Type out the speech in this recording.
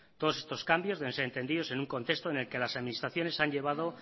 todos estos cambios deben ser entendidos en un contexto en el que las administraciones han llevado